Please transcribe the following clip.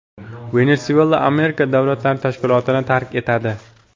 Venesuela Amerika davlatlari tashkilotini tark etadi.